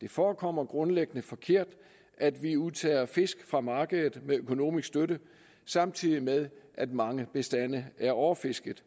det forekommer grundlæggende forkert at vi udtager fisk fra markedet med økonomisk støtte samtidig med at mange bestande er overfisket